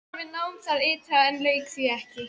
Hann var við nám þar ytra en lauk því ekki.